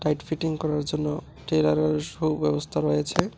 Set fitting করার জন্য টেলারের সুব্যবস্থা রয়েছে।